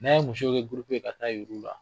N'a ye musow kɛ ka taa yir'u la.